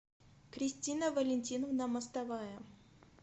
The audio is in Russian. кристина валентиновна мостовая